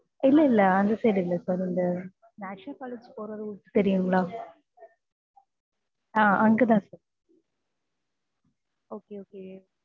இல்லை இல்லை அந்த side இல்லை sir இந்த National college போகுற route தெரியுங்களா? ஆஹ் அங்கதான் sir okay okay